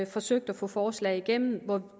forsøgt at få forslag igennem